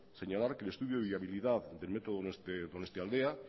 señalar que el estudio de viabilidad del método donostialdea